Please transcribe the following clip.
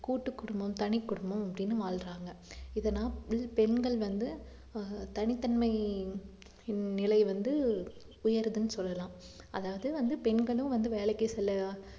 கூட்டுக்குடும்பம் தனிக்குடும்பம் அப்படின்னு வாழ்றாங்க இத நான் பெண்கள் வந்து ஆஹ் தனித்தன்மை நிலை வந்து உயருதுன்னு சொல்லலாம் அதாவது வந்து பெண்களும் வந்து வேலைக்கு செல்லலாம்